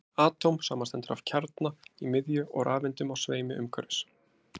atóm samanstendur af kjarna í miðju og rafeindum á sveimi umhverfis